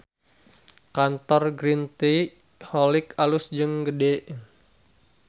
Kantor Green Tea Holics alus jeung gede